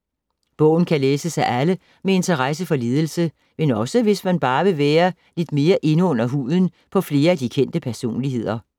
Bogen kan læses af alle med interesse for ledelse, men også hvis man bare vil lidt mere ind under huden på flere af de kendte personligheder.